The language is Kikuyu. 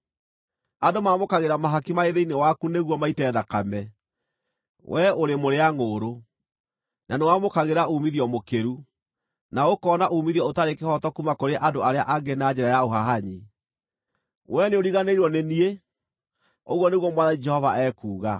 Andũ maamũkagĩra mahaki marĩ thĩinĩ waku nĩguo maite thakame; wee ũrĩ mũrĩa-ngʼũũrũ, na nĩwamũkagĩra uumithio mũkĩru, na ũkoona uumithio ũtarĩ kĩhooto kuuma kũrĩ andũ arĩa angĩ na njĩra ya ũhahanyi. Wee nĩũriganĩirwo nĩ niĩ, ũguo nĩguo Mwathani Jehova ekuuga.